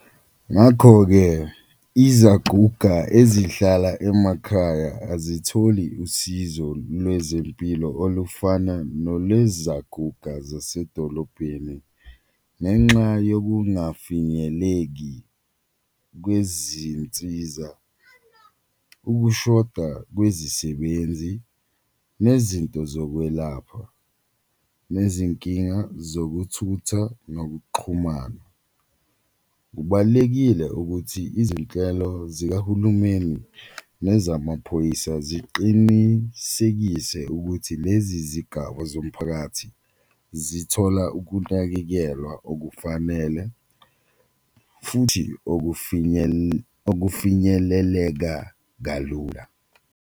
Ngakho-ke izaguga ezihlala emakhaya azitholi usizo lwezempilo olufana nolwezaguga zasedolobheni ngenxa yokungafinyeleki kwezinsiza, ukushoda kwezisebenzi nezinto zokwelapha, nezinkinga zokuthutha nokuxhumana. Kubalulekile ukuthi izinhlelo zikahulumeni nezamaphoyisa ziqinisekise ukuthi lezi zigaba zomphakathi zithola ukunakekelwa okufanele futhi okufinyeleleka kalula.